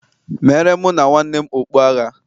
meere mụ na nwanne m okpu agha